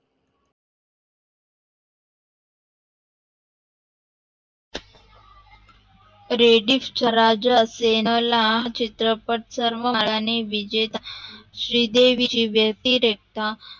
रेडिफ च्या राजा शेणला चित्रपट सर्वयाने विजेता श्री देवीची वेती रेटा